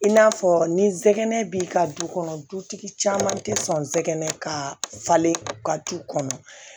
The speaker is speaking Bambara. I n'a fɔ ni sɛgɛnɛnɛ b'i ka du kɔnɔ dutigi caman tɛ sɔn sɛgɛn ka falen ka du kɔnɔ